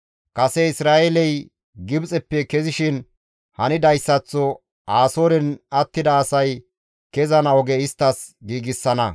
Kase Isra7eeley Gibxeppe kezishin hanidayssaththo Asooren attida asay kezana oge isttas giigsana.